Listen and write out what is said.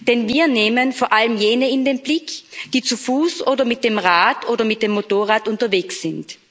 Denn wir nehmen vor allem jene in den Blick, die zu Fuß, mit dem Rad oder mit dem Motorrad unterwegs sind.